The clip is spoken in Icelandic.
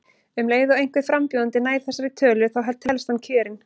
Um leið og einhver frambjóðandi nær þessari tölu þá telst hann kjörinn.